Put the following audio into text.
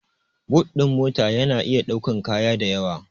But ɗin mota ya na iya ɗaukan kaya dayawa